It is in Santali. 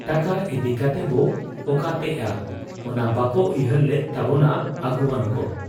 ᱴᱟᱠᱟ ᱤᱫᱤ ᱠᱟᱛᱮᱵᱚ ᱚᱠᱟᱛᱮᱜ ᱟ ? ᱚᱱᱟ ᱵᱟᱠᱚ ᱩᱭᱦᱟᱹᱨ ᱞᱮᱫ ᱛᱟᱵᱚᱱᱟ ᱟᱹᱜᱩᱣᱟᱹᱱ ᱠᱚ ᱾